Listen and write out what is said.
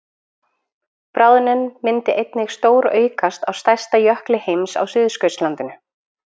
Bráðnun myndi einnig stóraukast á stærsta jökli heims á Suðurskautslandinu.